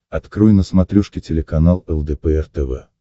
открой на смотрешке телеканал лдпр тв